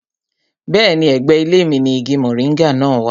Bẹ́ẹ̀ni, ẹ̀gbẹ́ ilé mi ni igi moringa náà wà